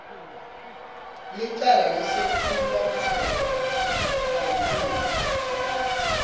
licala lesephulomtsetfo kantsi